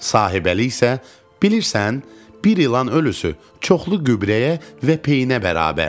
Sahibəli isə: Bilirsən, bir ilan ölüsü çoxlu qübrəyə və peyinə bərabərdir.